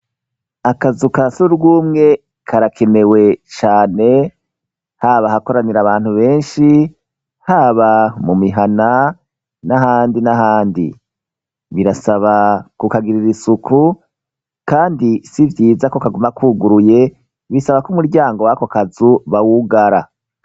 akazu ka surwumwe karakenewe cane haba ahakoranira abantu benshi haba mu mihana n'ahandi n'ahandi birasaba ku kagirira isuku kandi sivyiza ko kaguma kuguruye bisaba ko umuryango wakokazu bawugara